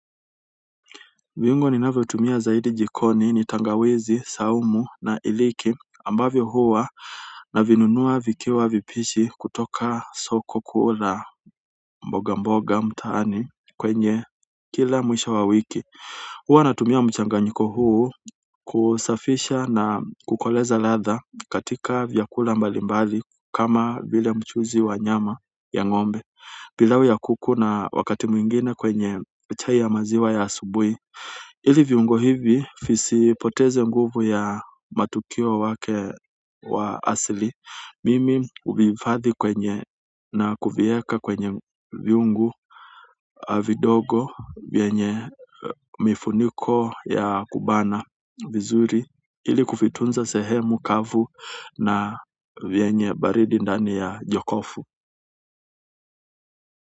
Viungo ninavyotumia zaidi jikoni ni tangawizi, saumu na iliki ambavyo huwa navinunua vikiwa vipishi kutoka soko kuu la mboga mboga mtaani kwenye kila mwisho wa wiki. Huwa natumia mchanganyiko huu kusafisha na kukoleza ladha katika vyakula mbalimbali kama vile mchuzi wa nyama ya ng'ombe. Pilau ya kuku na wakati mwingine kwenye chai ya maziwa ya asubuhi ili viungo hivi visipoteze nguvu ya matukio yake ya asili. Mimi huvihifadhi kwenye na kuviweka kwenye vyungu vidogo vyenye mifuniko ya kubana vizuri ili kuvitunza sehemu kavu na yenye baridi ndani ya jokofu.